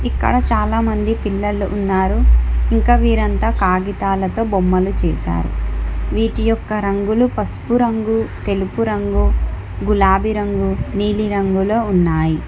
ఇక్కడ చాలా మంది పిల్లలు ఉన్నారు ఇంకా వీరంతా కాగితాలతో బొమ్మలు చేసారు వీటి యొక్క రంగులు పసుపు రంగు తెలుపు రంగు గులాబి రంగు నీలి రంగులో ఉన్నాయి.